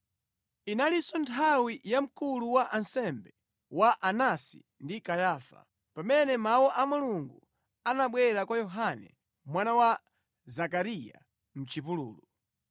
Inalinso nthawi ya mkulu wa ansembe wa Anasi ndi Kayafa, pamene mawu a Mulungu anabwera kwa Yohane mwana wa Zakariya mʼchipululu.